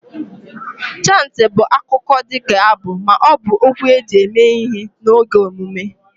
Chantị bụ akụkọ dị ka abụ ma ọ bụ okwu eji eme ihe n'oge emume